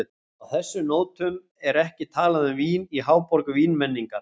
Á þessum nótum er ekki talað um vín í háborg vínmenningar.